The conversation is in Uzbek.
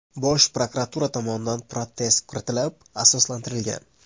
Bosh prokuratura tomonidan protest kiritilib, asoslantirilgan.